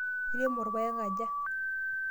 Iremo irpaek aja?